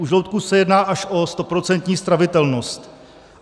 U žloutku se jedná až o stoprocentní stravitelnost.